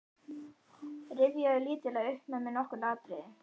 Rifjaðu lítillega upp með mér nokkur atriði.